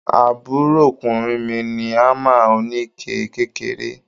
Àbúròkùnrin mi ní hámà oníke kékeré.